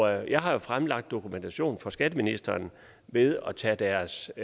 jeg har jo fremlagt dokumentation for skatteministeren ved at tage deres